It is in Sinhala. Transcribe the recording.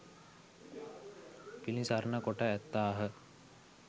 පිළිසරණ කොට ඇත්තාහ.